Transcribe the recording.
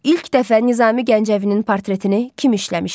İlk dəfə Nizami Gəncəvinin portretini kim işləmişdi?